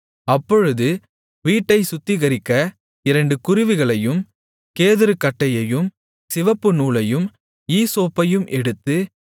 அப்பொழுது வீட்டைச் சுத்திகரிக்க இரண்டு குருவிகளையும் கேதுருக்கட்டையையும் சிவப்புநூலையும் ஈசோப்பையும் எடுத்து